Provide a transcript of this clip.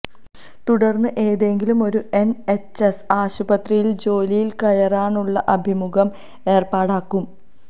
തുടർന്ന് ഏതെങ്കിലും ഒരു എൻഎച്ച്എസ് ആശുപത്രിയിൽ ജോലിയിൽ കയറാനുള്ള അഭിമുഖം ഏർപ്പാടാക്കും